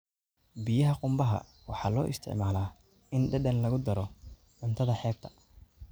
Biyaha qumbaha waxaa loo isticmaalaa in dhadhan lagu daro cuntada xeebta.